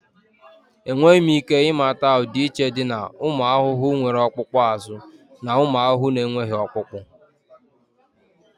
Enweghị m ike ịmata ọdịiche dị na ụmụ ahụhụ nwere ọkpụkpụ azụ na ụmụ ahụhụ na-enweghị ọkpụkpụ